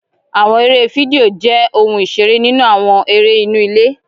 Àwọn eré fídíò jé òun iṣere nínú àwọn eré inú ilé